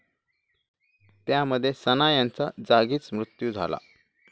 त्यामध्ये सना यांचा जागीच मृत्यू झाला.